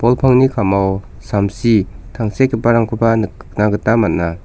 bol pangni ka·mao samsi tangsekgiparangkoba nikna gita man·a.